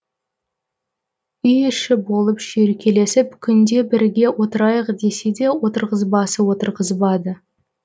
үй іші болып шүйіркелесіп күнде бірге отырайық десе де отырғызбасы отырғызбады